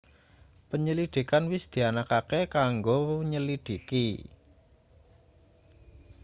penyelidikan wis dianakake kanggo nyelidhiki